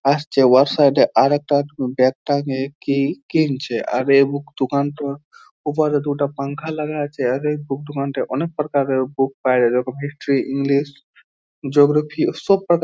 আসছে সাইড এ আরেকটা ব্যাগ টা কি কিনছে আর এ বুক দোকানটায় ওপরে দুটো পাঙ্খা লাগা আছে এ বুক দোকানটায় অনেক প্রকার এর বুক পাওয়া যায় যেমন হিস্টোরি ইংলিশ জিওগ্রাফি সব প্রকার এর--